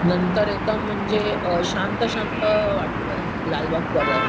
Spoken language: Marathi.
नंतर एकदम म्हणजे शांत शांत वाटतं लालबाग-परळ.